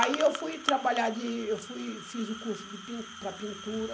Aí eu fui trabalhar, de, eu fui fiz o curso de pin para pintura.